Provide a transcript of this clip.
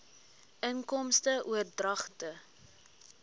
inkomste oordragte